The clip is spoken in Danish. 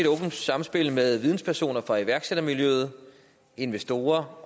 åbent samspil med videnspersoner fra iværksættermiljøet investorer